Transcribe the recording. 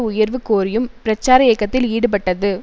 உயர்வு கோரியும் பிரச்சார இயக்கத்தில் ஈடுபட்டது